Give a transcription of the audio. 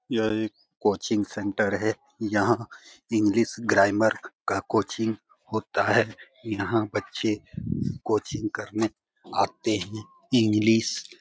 यह एक coaching centre है। यहाँ इंग्लिश ग्रम्मेर का कोचिंग होता है। यहां बच्चे कोचिंग करने आते है। इंग्लिश --